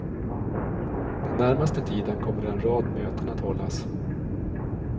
Den närmaste tiden kommer en rad möten att hållas.